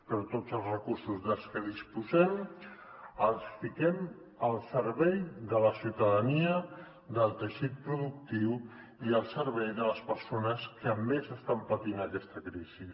però tots els recursos dels que disposem els fiquem al servei de la ciutadania del teixit productiu i al servei de les persones que més estan patint aquesta crisi